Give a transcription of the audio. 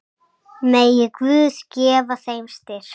Megi Guð gefa þeim styrk.